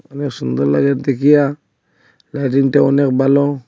অনেক সুন্দর লাগে দেখিয়া লাইটিংটা অনেক ভালো।